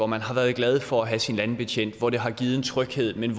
man har været glad for at have sin landbetjent og det har givet en tryghed men